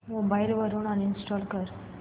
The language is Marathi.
मोबाईल वरून अनइंस्टॉल कर